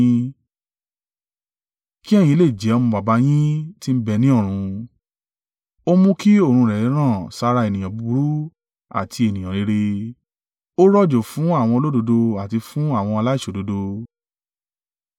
Kí ẹ̀yin lè jẹ́ ọmọ Baba yín ti ń bẹ ní ọ̀run. Ó mú kí oòrùn rẹ̀ ràn sára ènìyàn búburú àti ènìyàn rere, ó rọ̀jò fún àwọn olódodo àti fún àwọn aláìṣòdodo.